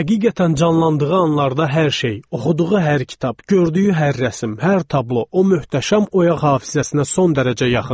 Həqiqətən canlandığı anlarda hər şey, oxuduğu hər kitab, gördüyü hər rəsm, hər tablo, o möhtəşəm oyaq hafizəsinə son dərəcə yaxındır.